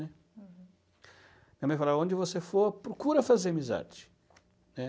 Uhum. Minha mãe falava, onde você for, procura fazer amizade, né?